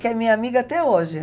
Que é minha amiga até hoje.